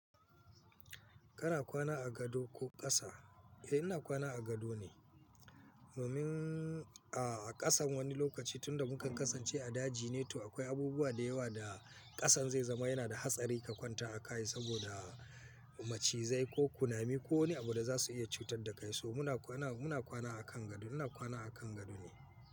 Kana kwana a gado ko ƙasa? Eh ina kwana a gado ne. Domin a ƙasan wani lokaci tunda muka kasance a daji ne to akwai abubuwa da yawa da ƙasan zai zama yana da hatsari ka kwanta a kai saboda macizai ko kunami ko wane abu da za su iya cutar da kai. So muna kwana, muna kwana a kan gado. Ina kwana a kan gado ne.